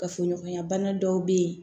Kafoɲɔgɔnya bana dɔw bɛ yen